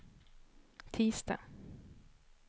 tisdag